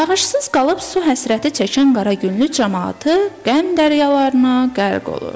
Yağışsız qalıb su həsrəti çəkən Qaraqünlü camaatı qəm dəryalarına qərq olur.